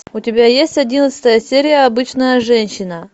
у тебя есть одиннадцатая серия обычная женщина